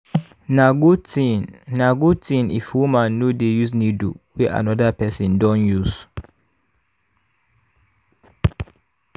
na good thing na good thing if woman no dey use needle wey another person don use.